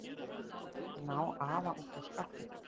Ná afa út úr skápnum?